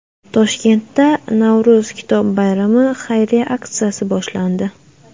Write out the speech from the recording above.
Toshkentda Navro‘z kitob bayrami xayriya aksiyasi boshlandi.